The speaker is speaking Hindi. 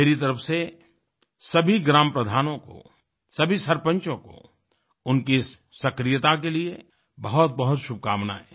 मेरी तरफ से सभी ग्राम प्रधानों को सभी सरपंचों को उनकी इस सक्रियता के लिए बहुतबहुत शुभकामनायें